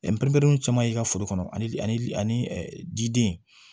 caman y'i ka foro kɔnɔ ani jiden